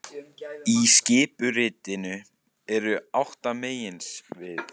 Í skipuritinu eru átta meginsvið